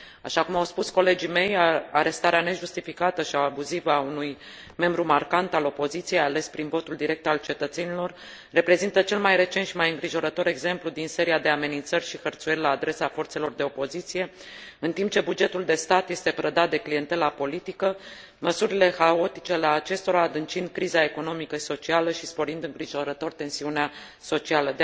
Așa cum au spus colegii mei, arestarea nejustificată și abuzivă a unui membru marcant al opoziției, ales prin votul direct al cetățenilor, reprezintă cel mai recent și mai îngrijorător exemplu din seria de amenințări și hărțuieli la adresa forțelor de opoziție, în timp ce bugetul de stat este prădat de clientela politică, măsurile haotice ale acestora adâncind criza economică și socială și sporind îngrijorător tensiunea socială.